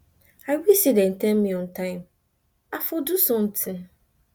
i wish say dem tell me on time i for do something